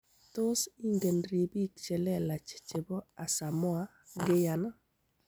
Tos ingen ribiik chelelach chebo Asamoah Gyan.